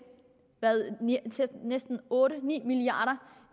næsten ni milliard